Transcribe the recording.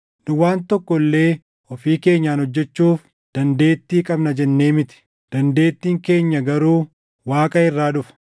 Nu waan tokko illee ofii keenyaan hojjechuuf dandeettii qabna jennee miti; dandeettiin keenya garuu Waaqa irraa dhufa.